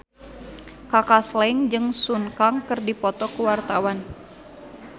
Kaka Slank jeung Sun Kang keur dipoto ku wartawan